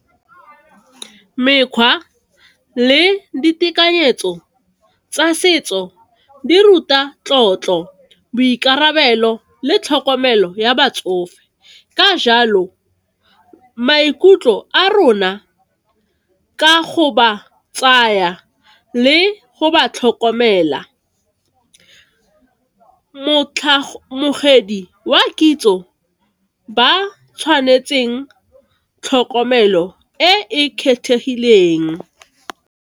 Mekgwa le ditekanyetso tsa setso di ruta tlotlo, boikarabelo, le tlhokomelo ya batsofe, ka jalo maikutlo a rona ka go ba tsaya le go ba tlhokomela. wa kitso ba tshwanetseng tlhokomelo e e kgethegileng.